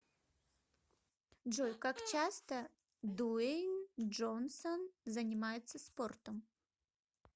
джой как часто дуэйн джонсон занимается спортом